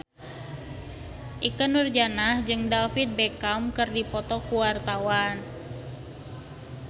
Ikke Nurjanah jeung David Beckham keur dipoto ku wartawan